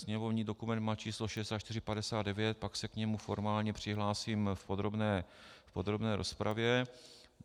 Sněmovní dokument má číslo 6459, pak se k němu formálně přihlásím v podrobné rozpravě.